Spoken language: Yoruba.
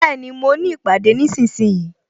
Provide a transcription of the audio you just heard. Bẹẹni, mo ní ìpàdé nísinsìnyí